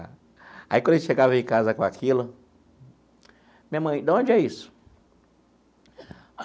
Aí, quando a gente chegava em casa com aquilo... Minha mãe, da onde é isso?